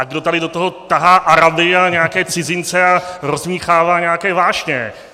A kdo tady do toho tahá Araby a nějaké cizince a rozdmýchává nějaké vášně?